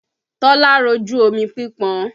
Tọ́lá rojú omi pípọn